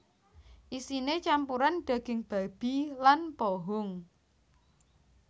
Isiné campuran daging babi lan pohung